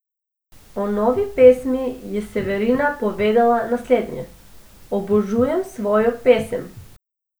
O novi pesmi je Severina povedala naslednje: "Obožujem svojo novo pesem.